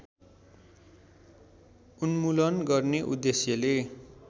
उन्मूलन गर्ने उद्देश्यले